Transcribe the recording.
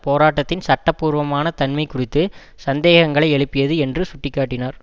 போராட்டத்தின் சட்ட பூர்வமான தன்மை குறித்து சந்தேகங்களை எழுப்பியது என்று சுட்டி காட்டினார்